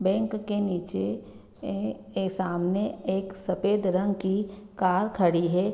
bank के निचे ऐ ऐ सामने एक सफ़ेद रंग की कार खड़ी है |